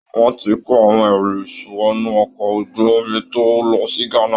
Wọn ti ń kó àwọn ẹrù wọnú ọkọ̀ ojú omi tó ń lọ sí Ghana